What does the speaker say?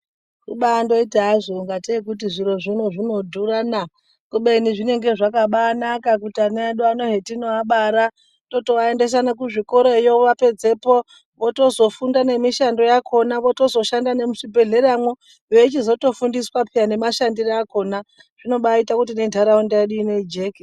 Kubandoita hazvo ngatei zviro zvino zvinodhurana kubeni zvinenge zvakabanaka kuti anan edu ano hetinoabara totoaendesa nekuzvikorayo vapedzepo mishando yakona votozoshanda nemuzvibhedhleyamwo veichizotofundiswa pe nemashandisirwe akona zvinobaite kuti nentaraunda yedu ino ijeke.